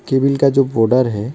Table का जो border है।